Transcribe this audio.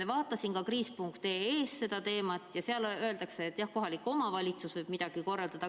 Vaatasin ka kriis.ee-s seda teemat ja seal öeldakse, et kohalik omavalitsus võib midagi korraldada.